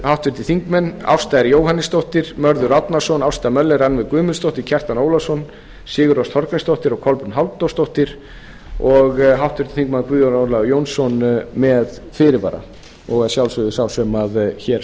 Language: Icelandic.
háttvirtir þingmenn ásta r jóhannesdóttir mörður árnason ásta möller rannveig guðmundsdóttir kjartan ólafsson sigurrós þorgrímsdóttir og kolbrún halldórsdóttir og háttvirtir þingmenn guðjón ólafur jónsson með fyrirvara og að sjálfsögðu sá sem hér